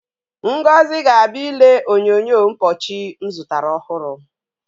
Ngozi ga-abịa ile onyonyo mpọchị m zụtara ọhụrụ.